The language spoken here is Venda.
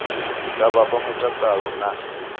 dza vha fha mutakalo na